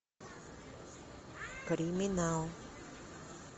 криминал